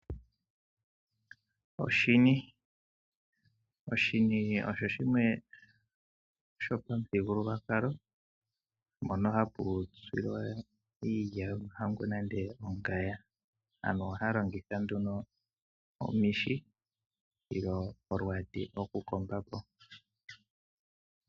Oshini Oshini osho shimwe sho pamuthigululwakalo, mpono hapu tsilwa iilya yo mahangu nenge ongaya . Aantu ohaya longitha nduno omishi nolwaati lo ku komba po.